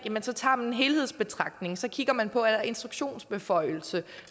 så tager man en helhedsbetragtning så kigger man på er der instruktionsbeføjelse